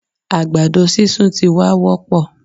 Àgbàdo sísun ti wá wópọ̀